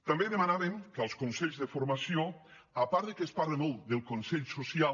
també demanàvem que als consells de formació a part que es parla molt del consell social